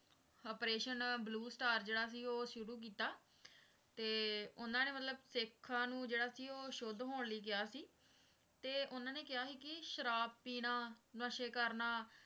operation blue star ਜਿਹੜਾ ਸੀ ਓਹੋ ਸ਼ੁਰੂ ਕੀਤਾ ਤੇ ਉਨ੍ਹਾਂ ਨੇ ਮਤਲਬ ਸਿੱਖਾਂ ਨੂੰ ਜਿਹੜਾ ਸੀ ਉਹ ਸਿੱਖਾਂ ਨੂੰ ਸ਼ੁੱਧ ਹੋਣ ਲਈ ਕਿਹਾ ਸੀ ਤੇ ਉਨ੍ਹਾਂ ਨੇ ਕਿਹਾ ਸੀ ਕਿ ਸ਼ਰਾਬ ਪੀਣਾ ਨਸ਼ੇ ਕਰਨਾ